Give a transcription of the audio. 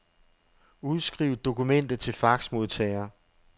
Udskriv dokumentet til faxmodtager.